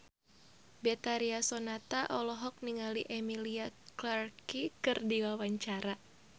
Betharia Sonata olohok ningali Emilia Clarke keur diwawancara